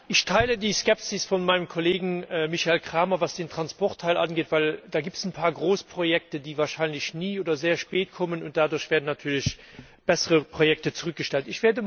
Ich teile die Skepsis meines Kollegen Michael Cramer, was den Transportteil angeht, denn es gibt da ein paar Großprojekte, die wahrscheinlich nie oder sehr spät kommen, und deshalb werden natürlich bessere Projekte zurückgestellt.